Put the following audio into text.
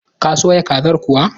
Ta soya kazar kuwa?